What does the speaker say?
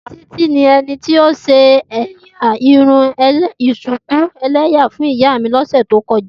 Titi ni ẹni ti o ṣe ẹ́yá irun shuku ẹlẹwa fun iya mi ni ọsẹ to kọja.